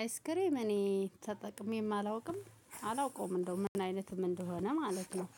አይስክሬም እኔ ተጠቅሜም አላውቅም አላውቀውም እንደው ምን አይነትም እንደሆነ ማለት ነው።